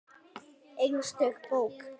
Einstök bók.